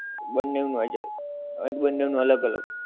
બંને નું આઈ જાએ આઈ બંને નું અલગ અલગ